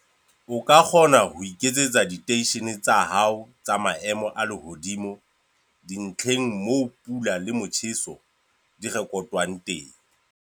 O ka kgona ho iketsetsa diteishene tsa hao tsa maemo a lehodimo dintlheng moo pula le motjheso di rekotwang teng.